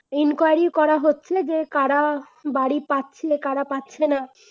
enquiry করা হচ্ছে যে করা বাড়ি পাচ্ছে, করা পাচ্ছে না